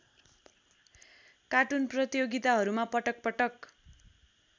cartoon प्रतियोगिताहरूमा पटकपटक